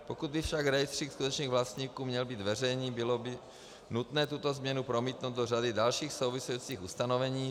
Pokud by však rejstřík skutečných vlastníků měl být veřejný, bylo by nutné tuto změnu promítnout do řady dalších souvisejících ustanovení.